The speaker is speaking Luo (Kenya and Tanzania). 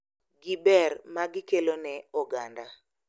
Gi ber magikelo ne oganda